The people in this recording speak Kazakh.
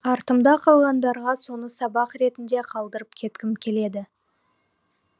артымда қалғандарға соны сабақ ретінде қалдырып кеткім келеді